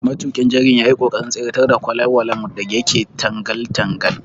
Matuƙin jirgin yayi ƙoƙarin tseratar da kwalelwalen da yake tangal tangal.